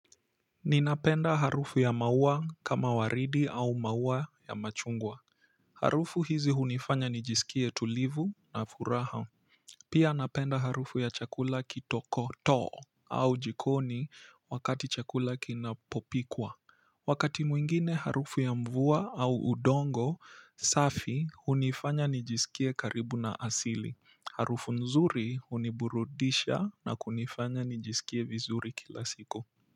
Ninapenda harufu ya maua kama waridi au maua ya machungwa harufu hizi hunifanya nijisikie tulivu na furaha pia napenda harufu ya chakula kitoko too au jikoni wakati chakula kinapopikwa wakati mwingine harufu ya mvua au udongo safi hunifanya nijisikie karibu na asili harufu nzuri huniburudisha na kunifanya nijisikie vizuri kila siku.